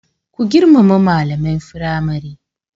Ku girmama malaman firamare.